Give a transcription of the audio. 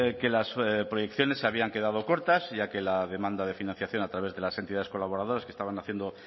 que las proyecciones se habían quedado cortas ya que la demanda de financiación a través de las entidades colaboradoras que estaban haciendo